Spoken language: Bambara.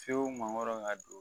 Fiyewu mangoro ka don